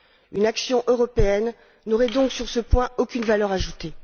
Une action européenne n'aurait donc, sur ce point, aucune valeur ajoutée.